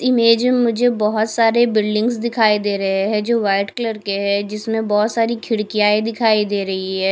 Image में मुझे बहोत सारे बिल्डिंगस दिखाई दे रहे हैं जो व्हाइट कलर के हैं जिसमें बहोत सारी खिड़कियांए दिखाई दे रही हैं।